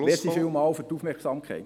Vielen Dank für die Aufmerksamkeit.